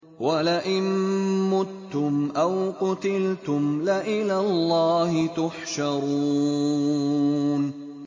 وَلَئِن مُّتُّمْ أَوْ قُتِلْتُمْ لَإِلَى اللَّهِ تُحْشَرُونَ